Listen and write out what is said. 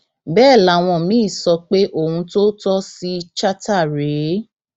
bẹẹ làwọn míín sọ pé ohun tó tọ sí chatta rèé